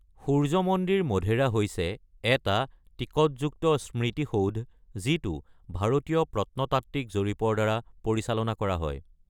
সূৰ্য্য মন্দিৰ, মধেৰা হৈছে এটা টিকটযুক্ত স্মৃতিসৌধ, যিটো ভাৰতীয় প্ৰত্নতাত্ত্বিক জৰীপৰ দ্বাৰা পৰিচালনা কৰা হয়।